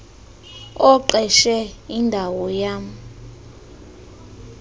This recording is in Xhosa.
oqeshe indawo yam